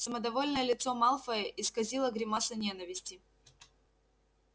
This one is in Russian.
самодовольное лицо малфоя исказила гримаса ненависти